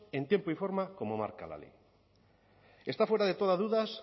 en tiempo y forma como marca la ley está fuera de toda duda